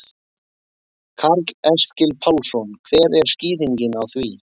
Karl Eskil Pálsson: Hver er skýringin á því?